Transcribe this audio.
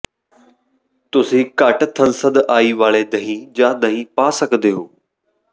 ਤੁਸੀਂ ਘੱਟ ਥੰਸਧਆਈ ਵਾਲੇ ਦਹੀਂ ਜਾਂ ਦਹੀਂ ਪਾ ਸਕਦੇ ਹੋ